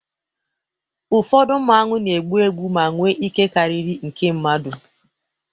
ụfọdụ Mmanwu na-egbu egbu ma nwee ike karịrị nke mmadụ